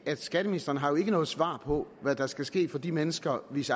skatteministeren har jo ikke noget svar på hvad der skal ske for de mennesker hvis